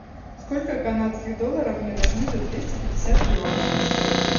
сколько канадских долларов мне должны за двести пятьдесят перуанских солей